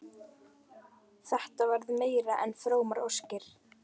Þetta verða meira en frómar óskir.